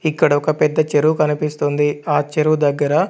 ఇక్కడ ఒక పెద్ద చెరువు కనిపిస్తుంది ఆ చెరువు దగ్గర.